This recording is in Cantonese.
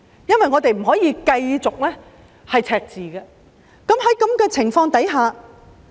我們不可以繼續出現赤字，那該怎麼辦？